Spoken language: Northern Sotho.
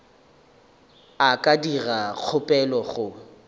a ka dira kgopelo go